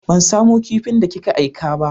Ban samu kipin da ki ka aika ba.